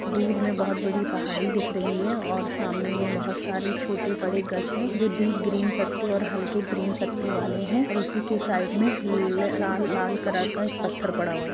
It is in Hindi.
दूर में बहुत बड़ी पहाड़ी दिख रही है और सामने में बहुत सारी छोटे बड़े गज है जो डीप ग्रीन पत्ते और हल्के ग्रीन पत्ते वाले हैं और उसी के साइड में लाल कलर का एक पत्थर पड़ा हुआ है।